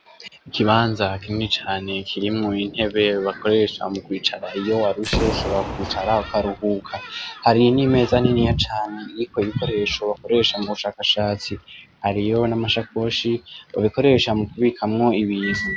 Ikibanza kinini cane kirimwo intebe bakoresha mu kwicara iyo warushe ushobora kwicara ukaruhuka, hari n' imeza niniya cane iriko ibikoresho bakoresha mu bushakashatsi hariyo n' amasakoshi bakoresha mukubikamwo ibintu.